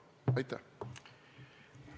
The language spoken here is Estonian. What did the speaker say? Aitäh!